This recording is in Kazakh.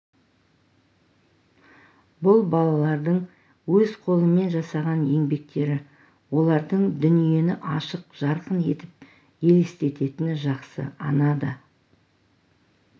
бұл балалардың өз қолымен жасаған еңбектері олардың дүниені ашық жарқын етіп елестететіні жақсы ана да